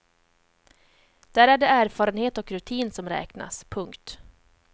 Där är det erfarenhet och rutin som räknas. punkt